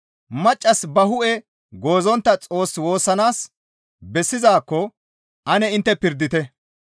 Maccassi ba hu7e goozontta Xoos woossanaas bessizaakko ane intte pirdite.